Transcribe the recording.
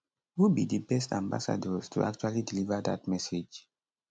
who be di best ambassadors to actually deliver dat message